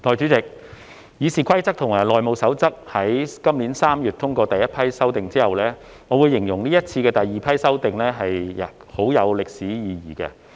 代理主席，《議事規則》及《內務守則》於今年3月通過第—批修訂後，我會形容這次的第二批修訂很有歷史意義。